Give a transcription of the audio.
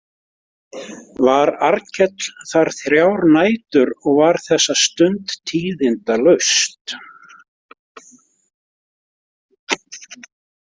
Var Arnkell þar þrjár nætur og var þessa stund tíðindalaust.